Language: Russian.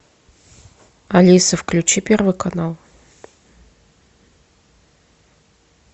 алиса включи первый канал